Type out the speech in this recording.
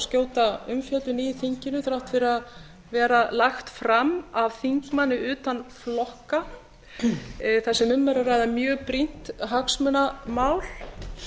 skjóta umfjöllun í þinginu þrátt fyrir að vera lagt fram af þingmanni utan flokka þar sem um er að ræða mjög brýnt hagsmunamál